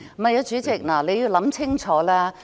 不，主席，請你想清楚。